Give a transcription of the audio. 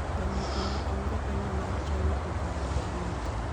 Jamoko ma en japinyno ma China okwayo dak Amerka